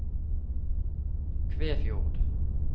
Kvæfjord